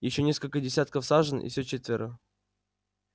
ещё несколько десятков сажен и всё четверо